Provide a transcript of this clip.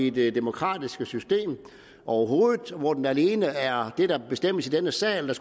i det demokratiske system overhovedet og hvor det alene er det der bestemmes i denne sal der